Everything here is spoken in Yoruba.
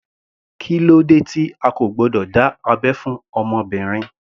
Kílódé tí a kò gbọdọ̀ dá abẹ́ fún obìnrin.